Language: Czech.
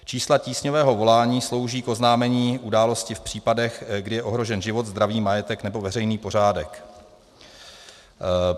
Čísla tísňového volání slouží k oznámení události v případech, kdy je ohrožen život, zdraví, majetek nebo veřejný pořádek.